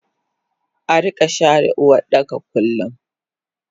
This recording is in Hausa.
Arika share Uwardaka kullum